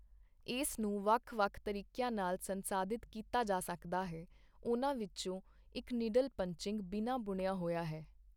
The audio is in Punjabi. ਇਸ ਨੂੰ ਵੱਖ ਵੱਖ ਤਰੀਕਿਆਂ ਨਾਲ ਸੰਸਾਧਿਤ ਕੀਤਾ ਜਾ ਸਕਦਾ ਹੈ, ਉਨ੍ਹਾਂ ਵਿੱਚੋਂ ਇੱਕ ਨਿਡਲ ਪੰਚਇੰਗ ਬਿਨਾਂ ਬੁਣਿਆ ਹੋਇਆ ਹੈ।